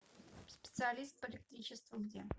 специалист по электричеству где